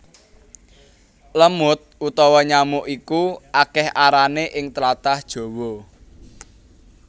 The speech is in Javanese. Lemud utawa nyamuk iku akèh arané ing tlatah Jawa